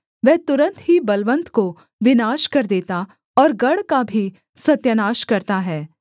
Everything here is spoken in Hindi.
वह तुरन्त ही बलवन्त को विनाश कर देता और गढ़ का भी सत्यानाश करता है